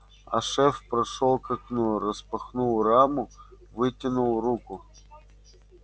а шеф прошёл к окну распахнул раму вытянул руку